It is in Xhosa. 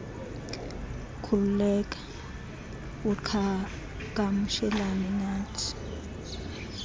khululeka uqhagamshelane nathi